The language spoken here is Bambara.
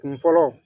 Kun fɔlɔ